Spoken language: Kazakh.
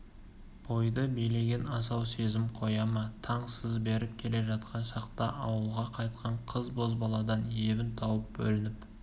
бойды билеген асау сезім қоя ма таң сыз беріп келе жатқан шақта ауылға қайтқан қыз-бозбаладан ебін тауып бөлініп